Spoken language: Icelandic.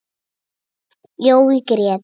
Jói grét.